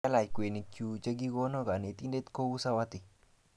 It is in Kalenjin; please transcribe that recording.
Kialach kweinik chuk che kikono kanetindet kou sawati